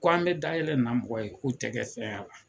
Ko an bɛ da yɛlɛ nin na mɔgɔ ye ko i tɛ kɛ fɛn y'a la.